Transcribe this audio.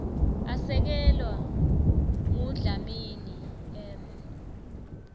asekelwa ngudlamini m